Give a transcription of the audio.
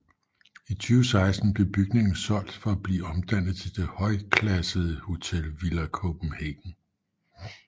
I 2016 blev bygningen solgt for at blive omdannet til det højklassede hotel Villa Copenhagen